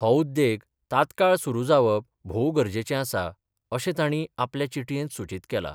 हो उद्देग तात्काळ सुरु जावप भोव गरजेचें आसा, अशें ताणी आपल्या चिटयेंत सुचित केला.